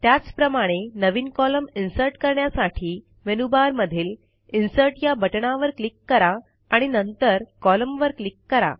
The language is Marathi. त्याचप्रमाणे नवीन कॉलम इन्सर्ट करण्यासाठी मेनूबारमधील इन्सर्ट या बटणावर क्लिक करा आणि नंतर कोलम्न वर क्लिक करा